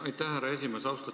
Aitäh, härra esimees!